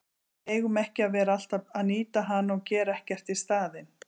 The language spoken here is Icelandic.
Við eigum ekki að vera alltaf að nýta hana og gera ekkert í staðinn.